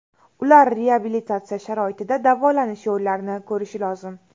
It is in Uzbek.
Ular reabilitatsiya sharoitida davolanish yo‘llarini ko‘rishi lozim.